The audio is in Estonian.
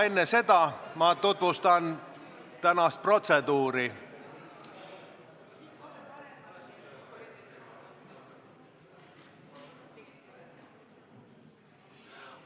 Enne seda ma tutvustan aga tänast protseduuri.